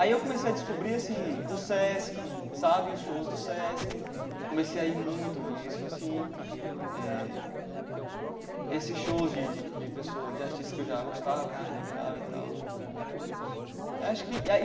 Aí eu comecei a descobrir assim o Sesc sabe, os shows do Sesc, comecei a ir muito nisso assim, eh esses shows de de de pessoas de artistas que eu já gostava né, admirava e tal acho que.